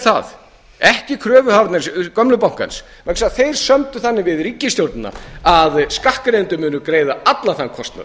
það ekki kröfuhafar gamla bankans vegna þess að þeir sömdu þannig við ríkisstjórnina að skattgreiðendur munu greiða allan þann kostnað